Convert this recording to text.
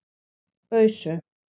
Ausu